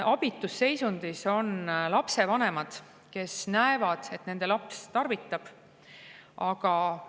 Abitus seisundis on lapsevanemad, kes näevad, et nende laps tarvitab.